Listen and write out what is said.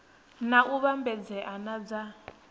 na u vhambedzea na dza